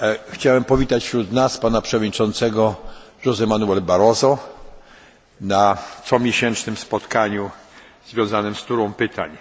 Chciałbym powitać wśród nas pana przewodniczącego José Manuela Barroso na comiesięcznym spotkaniu związanym z turą pytań.